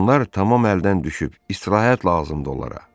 Onlar tamam əldən düşüb, istirahət lazımdır onlara.